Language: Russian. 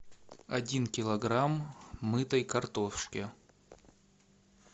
один килограмм мытой картошки